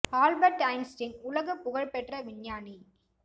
Albert Einstein உலகப் புகழ் பெற்ற விஞ்ஞானி